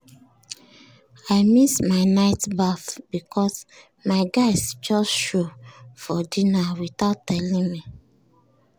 i miss my night baff because my guys just show for dinner without telling me.